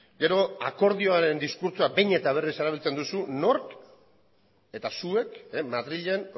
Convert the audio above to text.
gero akordioaren diskurtsoa behin eta berriz erabiltzen duzu nork eta zuek madrilen